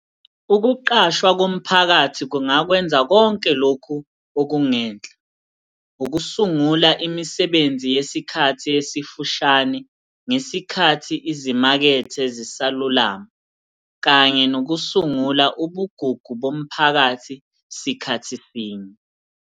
Ukuqashwa komphakathi kungakwenza konke lokhu okungenhla - ukusungula imisebenzi yesikhathi esifushane ngesikhathi izimakethe zisalulama, kanye nokusungula ubugugu bomphakathi sikhathi sinye.